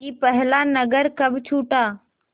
कि पहला नगर कब छूटा